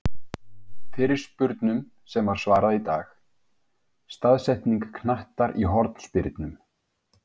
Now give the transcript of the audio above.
Fyrirspurnum sem var svarað í dag:-Staðsetning knattar í hornspyrnum?